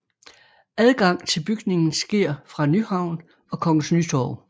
Adgang til bygningen sker fra Nyhavn og Kongens Nytorv